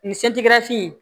Nin se tɛ ka fin